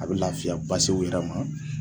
A bɛ laafiya basiw d'a ma.